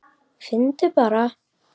Finndu bara!